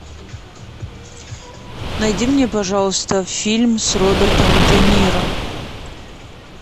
найди мне пожалуйста фильм с робертом де ниро